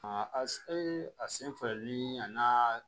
A ye a sen fɛ ni a n'a